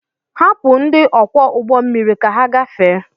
Hapụ ndị ọkwọ ụgbọmmiri ka ha gafee!